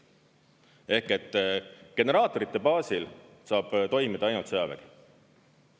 Ehk et generaatorite baasil saab toimida ainult sõjavägi.